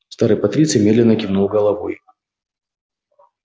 старый патриций медленно кивнул головой